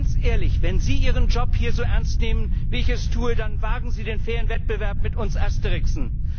Ganz ehrlich Wenn Sie Ihren Job hier so ernst nehmen wie ich es tue, dann wagen Sie den fairen Wettbewerb mit uns Asterixen!